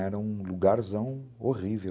Era um lugarzão horrível.